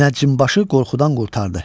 Münəccimbaşı qorxudan qurtardı.